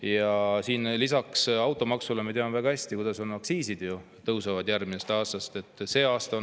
Ja lisaks automaksule me teame väga hästi, kuidas aktsiisid järgmisest aastast tõusevad.